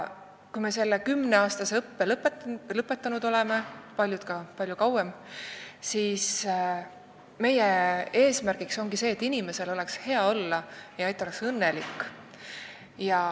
Kui me oleme lõpetanud selle kümneaastase õppe – paljud õpivad veel palju kauem –, siis ongi meie eesmärk see, et inimesel oleks hea olla ja ta oleks õnnelik.